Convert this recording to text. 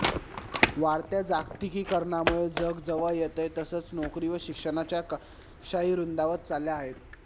वाढत्या जागतिकीकरणामुळे जग जवळ येतंय तसंच नोकरी व शिक्षणाच्या कक्षाही रुंदावत चालल्या आहेत